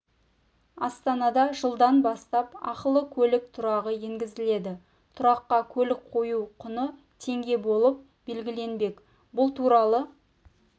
астанада жылдан бастап ақылы көлік тұрағы енгізіледі тұраққа көлік қою құны теңге болып белгіленбек бұл туралы